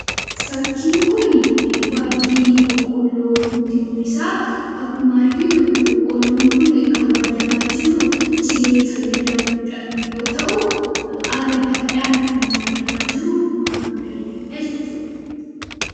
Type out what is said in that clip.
Fakkiin kun waaddii boqqoolloo nutti mul'isa. Akkuma arginu boqqoolloon kun kan waadamaa jiru cilee fayyadamuudhaan yoo ta'u, haala gaariidhaan akka inni waadamaa jiru arguu dandeenya jechuudha.